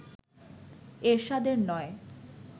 এরশাদের নয়